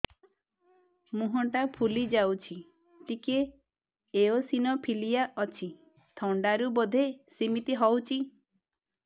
ମୁହଁ ଟା ଫୁଲି ଯାଉଛି ଟିକେ ଏଓସିନୋଫିଲିଆ ଅଛି ଥଣ୍ଡା ରୁ ବଧେ ସିମିତି ହଉଚି